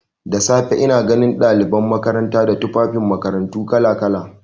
Da safe ina ganin ɗaliban makaranta da tufafin makarantu kala-kala.